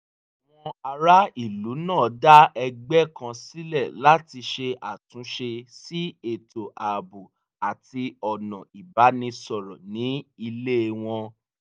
àwọn ará ìlú náà dá ẹgbẹ́ kan sílẹ̀ láti ṣe àtúnṣe sí ètò ààbò àti ọ̀nà ìbánisọ̀rọ́ ní ilé wọn